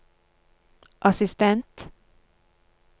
assistent